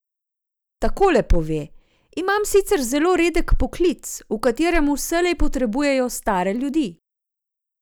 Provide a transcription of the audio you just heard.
Takole pove: "Imam sicer zelo redek poklic, v katerem vselej potrebujejo stare ljudi.